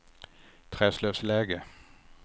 Träslövsläge